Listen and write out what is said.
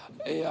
Palun!